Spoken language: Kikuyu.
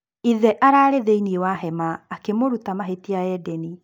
Ithe arari thĩinĩ wa hema akĩmũruta mahĩtia Eden.